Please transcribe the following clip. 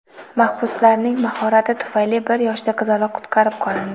Mahbuslarning "mahorati" tufayli bir yoshli qizaloq qutqarib qolindi.